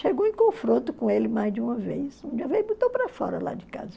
Chegou em confronto com ele mais de uma vez, um dia veio e botou para fora lá de casa.